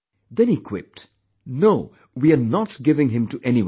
Then he quipped "No, we are not giving him to anyone